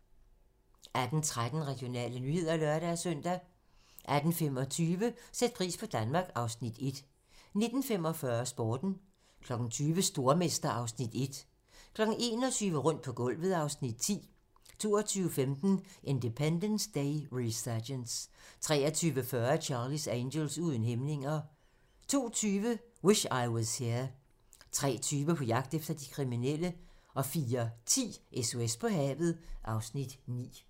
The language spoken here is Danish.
18:13: Regionale nyheder (lør-søn) 18:25: Sæt pris på Danmark (Afs. 1) 19:45: Sporten 20:00: Stormester (Afs. 1) 21:00: Rundt på gulvet (Afs. 10) 22:15: Independence Day: Resurgence 23:40: Charlie's Angels: Uden hæmninger 02:20: Wish I Was Here 03:20: På jagt efter de kriminelle 04:10: SOS på havet (Afs. 9)